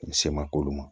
U se ma k'olu ma